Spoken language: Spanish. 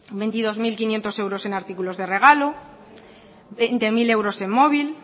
veintidós mil quinientos euros en artículos de regalo veinte mil euros en móvil